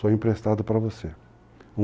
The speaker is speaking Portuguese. Só emprestado para você.